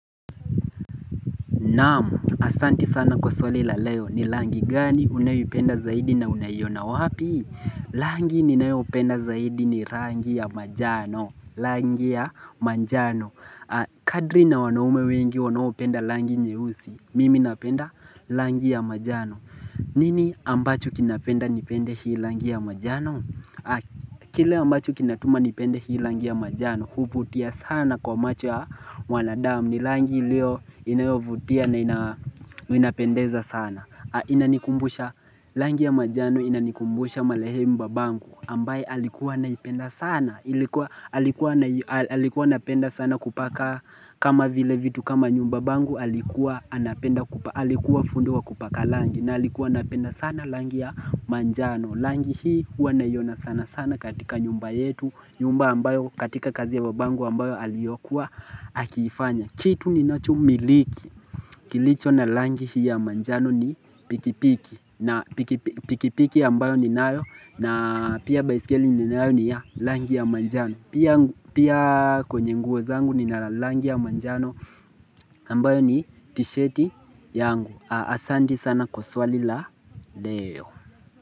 Naam! Asanti sana kwa swali la leo, ni langi gani unayoipenda zaidi na unaiyona wapi? Langi ninaopenda zaidi ni rangi ya majano. Langi ya majano. Kadri na wanaume wengi wanaopenda langi nyeusi. Mimi napenda langi ya majano. Nini ambacho kinapenda nipende hii rangi ya manjano? Kile ambacho kinatuma nipende hii rangi ya manjano. Huvutia sana kwa macho ya wanadamu. Ni rangi ilio inayovutia na inapendeza sana inanikumbusha rangi ya manjano inanikumbusha marehemu babangu ambaye alikuwa anaipenda sana Alikuwa anapenda sana kupaka kama vile vitu kama nyumba babangu Alikuwa fundi wa kupaka rangi na alikuwa anapenda sana rangi ya manjano rangi hii huwa naiona sana sana katika nyumba yetu nyumba ambayo katika kazi ya babangu ambayo aliyokua akiifanya Kitu ninachomiliki, kilicho na rangi hii ya manjano ni pikipiki na pikipiki ambayo ninayo na pia baiskeli ninayo ni ya rangi ya manjano Pia kwenye nguo zangu nina rangi ya manjano ambayo ni tishati yangu Asante sana kwa swali la leo.